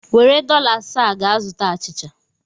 Were dọla asaa a gaa zụta achịcha!